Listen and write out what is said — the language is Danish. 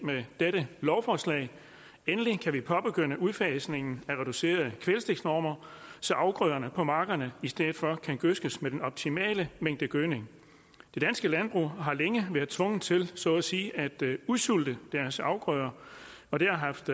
med dette lovforslag endelig kan vi påbegynde udfasningen af reducerede kvælstofnormer så afgrøderne på markerne i stedet for kan gødskes med den optimale mængde gødning det danske landbrug har længe været tvunget til så at sige at udsulte deres afgrøder og det har haft